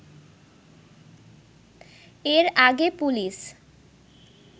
এর আগে পুলিশ